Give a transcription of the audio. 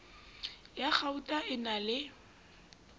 ya kgauta e na le